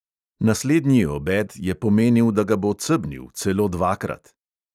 Naslednji obed je pomenil, da ga bo cebnil, celo dvakrat.